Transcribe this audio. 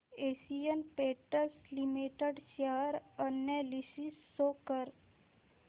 Asian Paints Limited share analysis show कर